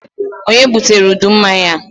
Ònye butere udu mmanya a?